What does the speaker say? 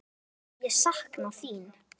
Það sem ég sakna þín.